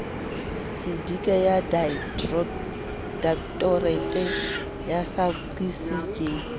sedika ya directorate saafqis ke